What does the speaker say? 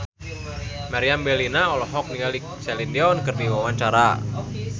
Meriam Bellina olohok ningali Celine Dion keur diwawancara